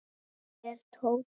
Hvar er Tóti?